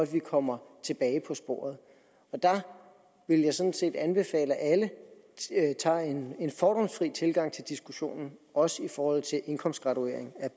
vi kommer tilbage på sporet der vil jeg sådan set anbefale alle at have en fordomsfri tilgang til diskussionen også i forhold til indkomstgraduering